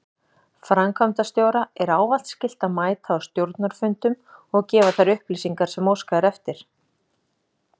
Framkvæmdastjóra er ávallt skylt að mæta á stjórnarfundum og gefa þær upplýsingar sem óskað er.